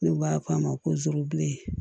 N'u b'a fɔ a ma ko zuru